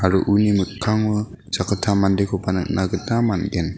mikkango sakgittam mandekoba nikna gita man·gen.